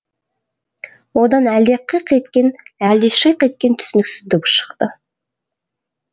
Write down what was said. одан әлде қиқ еткен әлде шиқ еткен түсініксіз дыбыс шықты